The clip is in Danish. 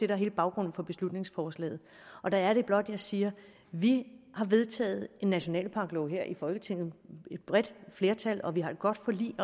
er hele baggrunden for beslutningsforslaget og der er det blot jeg siger vi har vedtaget en nationalparklov her i folketinget med et bredt flertal og vi har et godt forlig